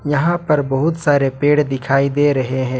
यहां पर बहुत सारे पेड़ दिखाई दे रहे हैं।